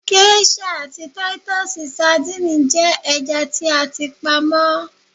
Géṣà àti Títúsì sadínìì jẹ́ ẹja tí a ti pa mọ́.